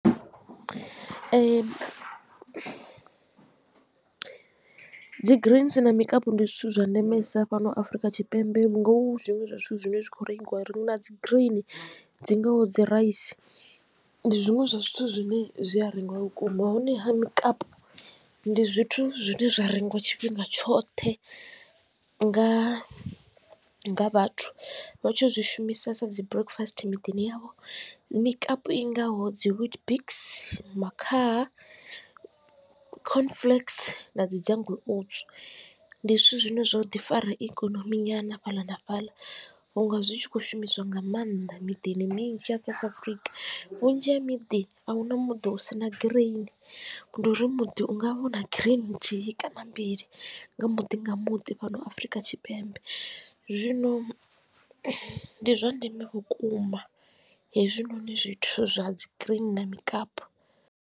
Ee dzi greens na mikapu ndi zwithu zwa ndemesa fhano Afurika Tshipembe vhu nga hu zwiṅwe zwa zwithu zwine zwa kho rengisiwa ri na dzi green dzi ngaho dzi raisi ndi zwiṅwe zwa zwithu zwine zwi a rengiwa vhukuma. Hone ha mikapu ndi zwithu zwine zwa rengiwa tshifhinga tshoṱhe nga vhathu vha tshi zwi shumisesa dzi breakfast miḓini yavho mikapu i ngaho dzi witbix, makhaha, corn flakes na dzi jungle oats ndi zwithu zwine zwa u ḓi fara ikonomi nyana fhaḽa na fhaḽa vhunga zwi tshi kho shumiswa nga maanḓa miḓini minzhi ya South Africa. Vhunzhi ha miḓi a huna muḓi hu si na green ndi uri muḓi ungavha u na green nthihi kana mbili nga muḓi nga muḓi fhano Afurika Tshipembe zwino ndi zwa ndeme vhukuma hezwinoni zwithu zwa dzi green na mikapu.